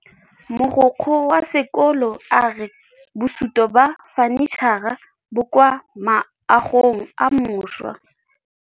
Mogokgo wa sekolo a re bosutô ba fanitšhara bo kwa moagong o mošwa.